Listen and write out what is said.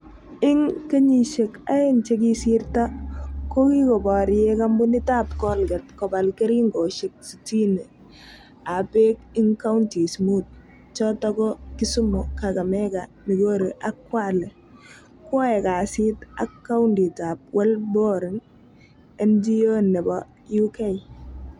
Ing kenyishek aeng che kisirto kokikoprye kampunit ap colgate kopal keringoshek sistini ap pek ing counties mut(Kisumu, Kakamega, Migori, ak Kwake) koae kasit ak kundit ap WellBoring, NGO nepo UK.